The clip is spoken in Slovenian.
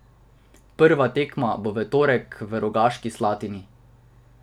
Prva tekma bo v torek v Rogaški Slatini.